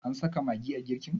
an saka magi a girkin?